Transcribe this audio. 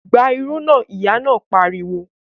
Gba irú náà! Ìyá náà pariwo